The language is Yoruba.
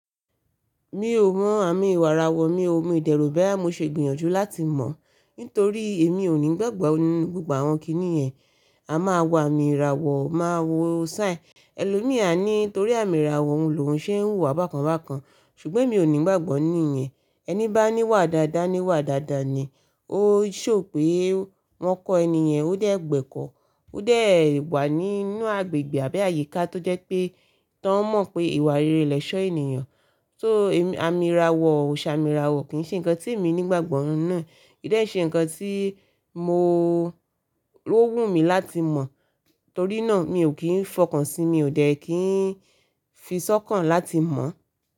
Mi ò mọ àmì ìràwọ̀ mi, mi de ro boya mo ṣe gbìyànjú láti mọ̀ nítorí èmi ò ní ìgbàgbọ́ ní gbogbo àwọn kíní yẹn. A máa wo àmì ìràwọ̀, máa wo sign. Ẹlòmí à ni nítorí àmì ìràwọ̀ òun lòun ṣe ń hù wá bákan bákan ṣùgbọ́n mi ò ní ìgbàgbọ́ ní i yẹn. Ẹni bá ní wà dáadáa ní wà dáadáa ni. Ó ṣò pé wọ́n kọ ẹni yẹn ó dẹ̀ gbẹ́kọ̀ọ́, ó dẹ̀ wà nínú agbègbè àbí àyíká tó jẹ́ pé tá ń mọ̀ pé ìwà rere lẹ̀ṣọ́ ènìyàn. So àmì ìràwọ̀, oṣà àmì ìràwọ̀ kì í ṣe ǹkan tí mi ní ìgbàgbọ́ nínú e. Ki dẹ ṣe ǹkan tí mo ló wù mí láti mọ̀ torí náà mi ò kí ń fọkàn sí i, mi ò dẹ́ kí ń fi sọ́kàn láti mọ̀.